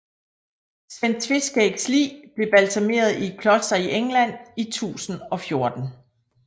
Sven Tveskægs lig blev balsameret i et kloster i England i 1014